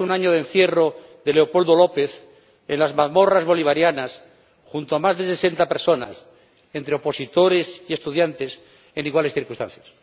un año del encierro de Leopoldo López en las mazmorras bolivarianas junto a más de sesenta personas entre opositores y estudiantes en iguales circunstancias.